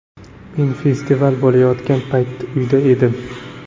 Men festival bo‘layotgan payt uyda edim.